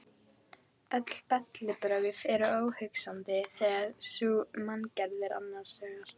Öll bellibrögð eru óhugsandi þegar sú manngerð er annars vegar.